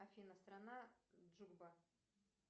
афина страна джугба